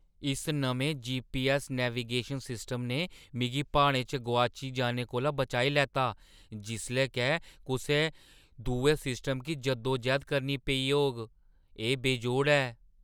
इस नमें GPS navigation system ने मिगी प्हाड़ें च गोआची जाने कोला बचाई लैता जिसलै के कुसै दुए सिस्टम गी जद्दोजैह्‌द करनी पेई होग। एह् बेजोड़ ऐ!